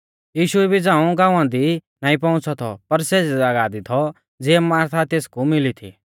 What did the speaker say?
यीशु इबी झ़ांऊ गाँवा दी नाईं पौउंच़ौ थौ पर सेज़ी ज़ागाह दी थौ ज़िऐ मार्था तेसकु मिली थी